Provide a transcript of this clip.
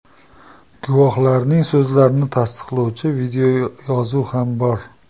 Guvohlarning so‘zlarini tasdiqlovchi videoyozuv ham bor.